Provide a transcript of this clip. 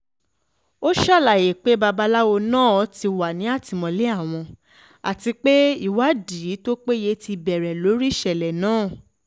ó ṣàlàyé pé babaláwo náà ti wà ní àtìmọ́lé àwọn àti pé ìwádìí tó péye ti bẹ̀rẹ̀ lórí ìṣẹ̀lẹ̀ náà